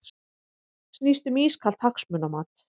Snýst um ískalt hagsmunamat